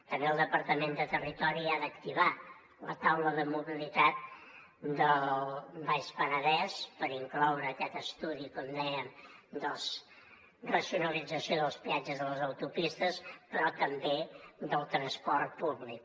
també el departament de territori ha d’activar la taula de mobilitat del baix penedès per incloure hi aquest estudi com dèiem de la racionalització dels peatges de les autopistes però també del transport públic